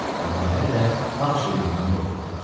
Onlar hələ də ağ şeytandan qorxurdular.